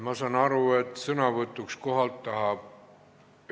Ma saan aru, et sõnavõtuks kohalt tahab ...